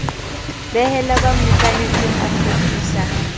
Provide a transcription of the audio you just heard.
behela ba mmokanetseng a kgutlisa